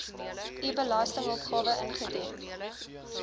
u belastingopgawe ingedien